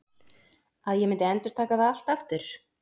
Að ég myndi endurtaka það allt aftur?